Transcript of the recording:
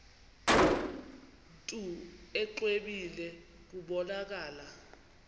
mntu exwebile kubonakala